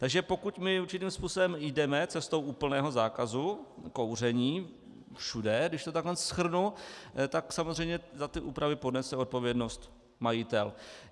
Takže pokud my určitým způsobem jdeme cestou úplného zákazu kouření všude, když to tak shrnu, tak samozřejmě za ty úpravy ponese odpovědnost majitel.